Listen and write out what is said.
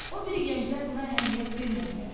O biri gənclər buna əhəmiyyət vermədilər.